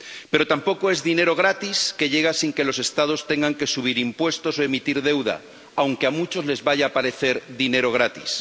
Pero tampoco es dinero gratis que llega sin que los Estados tengan que subir impuestos o emitir deuda, aunque a muchos les vaya a parecer dinero gratis.